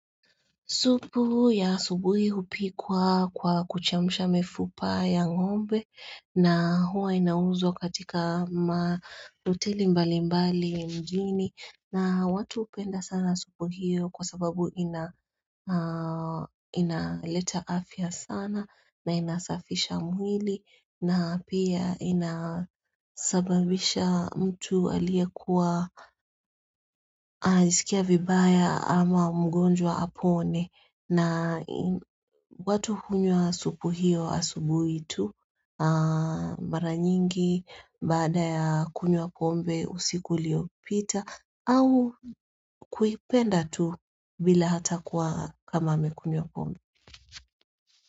Supu ya subuhi hupikwa kwa kuchemsha mifupa ya ngombe na huwa inauzwa katika hoteli mbali mbali mjini na watu hupenda sana supu hiyo kwa sababu inaleta afya sana na inasafisha mwili na pia inasababisha mtu aliyekuwa anajisikia vibaya ama mgonjwa apone na watu hunywa supu hiyo asubuhi tu mara nyingi baada ya kunywa pombe usiku uliopita au kuipenda tu bila hata kwa kama amekunywa pombe.